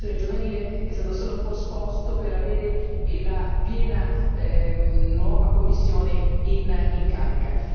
giovanile è stato solo posposto per avere la piena nuova Commissione in carica.